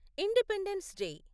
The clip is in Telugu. independence day